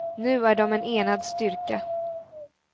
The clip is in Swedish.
Nu är de en enad styrka.